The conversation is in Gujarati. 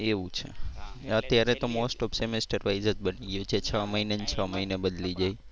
અત્યારે તો most of semester wise જ બની ગયું છે. છ મહિને ને છ મહિને બદલી જાય.